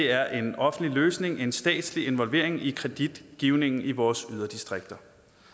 er en offentlig løsning en statslig involvering i kreditgivningen i vores yderdistrikter